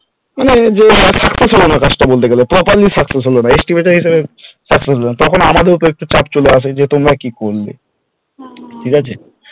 যে success হলো না কাজটা বলতে গেলে properly success হলো না estimate এর হিসাবে success হলো না তখন আমাদের উপর একটু চাপ চলে আসে যে তোমরা কি করলে ঠিকআছে